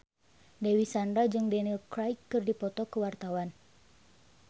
Dewi Sandra jeung Daniel Craig keur dipoto ku wartawan